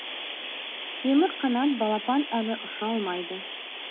темірқанат балапан әлі ұша алмайды